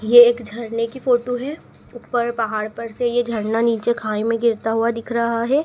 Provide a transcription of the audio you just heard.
ये एक झरने की फोटो है ऊपर पहाड़ पर से ये झरना नीचे खाई मे गिरता हुआ दिख रहा है।